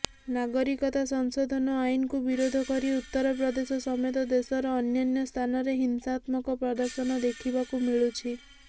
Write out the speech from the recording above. ନାଗରିକତା ସଂଶୋଧନ ଆଇନକୁ ବିରୋଧ କରି ଉତ୍ତରପ୍ରଦେଶ ସମେତ ଦେଶର ଅନ୍ୟାନ୍ୟ ସ୍ଥାନରେ ହିଂସାତ୍ମକ ପ୍ରଦର୍ଶନ ଦେଖିବାକୁ ମିଳୁଛି